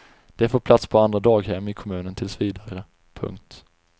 De får plats på andra daghem i kommunen tills vidare. punkt